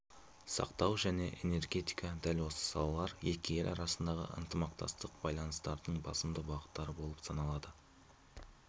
сақтау және энергетика дәл осы салалар екі ел арасындағы ынтымақтастық байланыстарының басымды бағыттары болып саналады